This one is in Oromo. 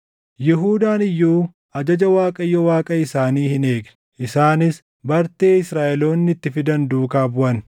Yihuudaan iyyuu ajaja Waaqayyo Waaqa isaanii hin eegne. Isaanis bartee Israaʼeloonni itti fidan duukaa buʼan;